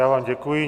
Já vám děkuji.